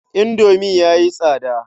Indomi ya yi tsada.